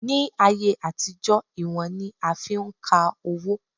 Ní ayé àtijọ́, ìwọ̀n ni a fi ń ka owó